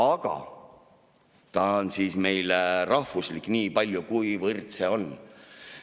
Aga ta on meil rahvuslik niipalju, kuivõrd see on.